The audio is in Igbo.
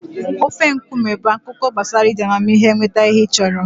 Ofe nkume bụ akụkọ gbasara iji amamihe nweta ihe ị chọrọ.